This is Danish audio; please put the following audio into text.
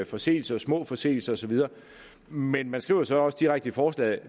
forseelser små forseelser og så videre men man skriver så også direkte i forslaget at